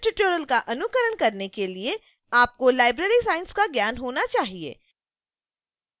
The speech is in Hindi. इस tutorial का अनुकरण करने के लिए आपको library science का ज्ञान होना चाहिए